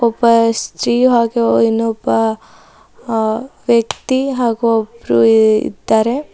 ಉಪ ಸ್ಕಿ ಹಾಗ ಇನೊಬ್ಬ ಅ ವ್ಯಕ್ತಿ ಹಾಗು ಒಬ್ರು ಇದ್ದಾರೆ.